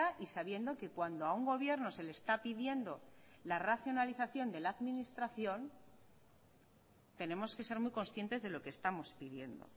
y sabiendo que cuando a un gobierno se le está pidiendo la racionalización de la administración tenemos que ser muy conscientes de lo que estamos pidiendo